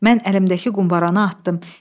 Mən əlimdəki qumbaranı atdım.